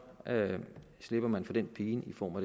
slipper man for den pine i form af